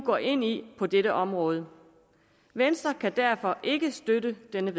går ind i på dette område venstre kan derfor ikke støtte det